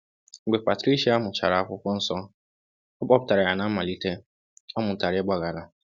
Mgbe Patricia mụchara Akwụkwọ Nsọ, ọ kpọpụtara ya na mmalite, ọ mụtara ịgbaghara.